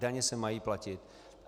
Daně se mají platit.